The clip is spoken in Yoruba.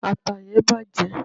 ata yen bàjé